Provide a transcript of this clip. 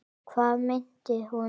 Hvað meinti hún?